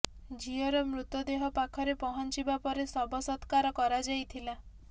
ଝିଅର ମୃତଦେହ ପାଖରେ ପହଞ୍ଚିବା ପରେ ଶବ ସତ୍କାର କରାଯାଇଥିଲା